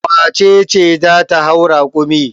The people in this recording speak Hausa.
Wace ce za ta hau rakumi?